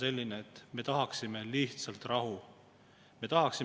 Selle üle tuntakse siirast rõõmu, et suudeti võtta raha vähemaks suurperede toetamiselt.